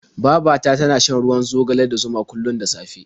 Baba ta tana shan ruwan zogale da zuma kullum da safe.